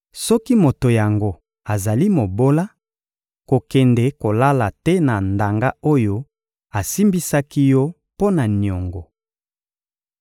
Soki moto yango azali mobola, kokende kolala te na ndanga oyo asimbisaki yo mpo na niongo.